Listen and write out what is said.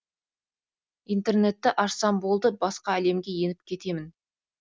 интернетті ашсам болды басқа әлемге еніп кетемін